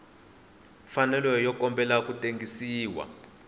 mfanelo yo kombela ku tengisiwa